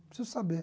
Preciso saber.